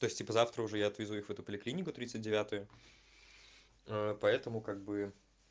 то есть типа завтра уже я отвезу их в эту поликлинику тридцать девятую ээ поэтому как бы